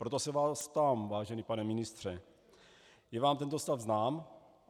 Proto se vás ptám, vážený pane ministře: Je vám tento stav znám?